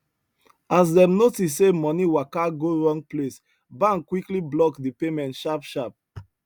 as dem notice say money waka go wrong place bank quickly block the payment sharpsharp